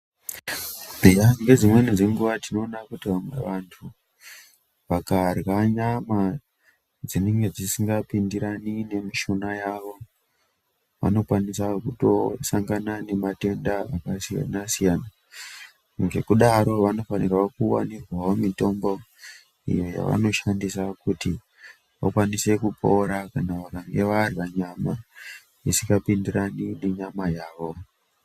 Eya, ngedzimweni dzenguwa tinoona kuti vamwe vantu vakarya nyama dzinenge dzisikapindirani numishuna yavo vanokwanisa kutosangana nematenda akasiyanasiyana, ngekudaro vanofanirwa kuwanirwawo mithombo iyo yavanoshandisa kuti vakwanise kupora kana vakanga varya nyama isikapindirani nenyama yavo.